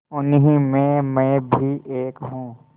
उन्हीं में मैं भी एक हूँ